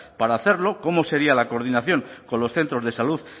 para hacerlo cómo sería la coordinación con los centros de salud